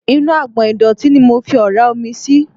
Inú agbọ̀n ìdọ̀tí ni mo fi ọ̀ra omi sí.